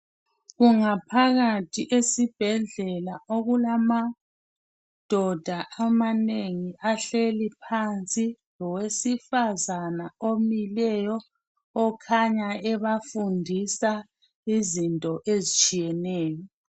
Kungaphakathi esibhedlela okulamadoda amanengi ahleli phansi Lowesifazana omileyo okhanya ebafundisa izinto ezitshiyeneyo